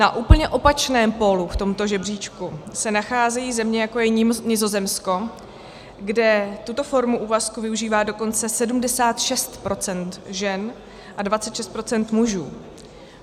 Na úplně opačném pólu v tomto žebříčku se nacházejí země, jako je Nizozemsko, kde tuto formu úvazku využívá dokonce 76 % žen a 26 % mužů.